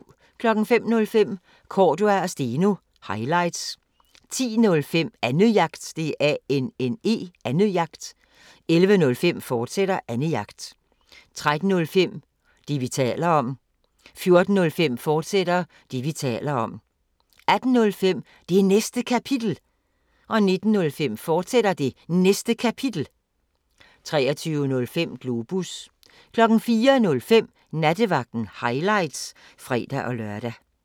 05:05: Cordua & Steno – highlights 10:05: Annejagt 11:05: Annejagt, fortsat 13:05: Det, vi taler om 14:05: Det, vi taler om, fortsat 18:05: Det Næste Kapitel 19:05: Det Næste Kapitel, fortsat 23:05: Globus 04:05: Nattevagten – highlights (fre-lør)